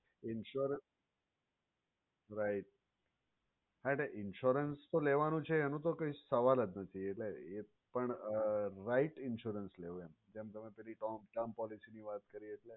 insurance right હા એટલે insurance તો લેવાનો છે એને તો કઈ સવાલ જ નથી પણ right insurance લેવો એમ જેમ તમે પેલી term policy ની વાત કરીએ.